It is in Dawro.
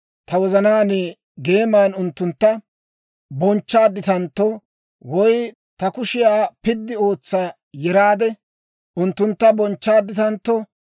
ta wozanaan geeman unttuntta bonchchaadditantto, woy ta kushiyaa piddi ootsa yeraade, unttuntta bonchchaadditantto,